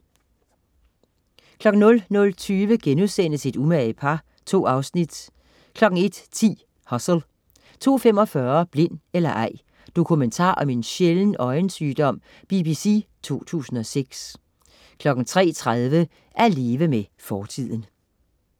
00.20 Et umage par* 2 afsnit 01.10 Hustle 02.45 Blind eller ej. Dokumentar om en sjælden øjensygdom BBC 2006 03.30 At leve med fortiden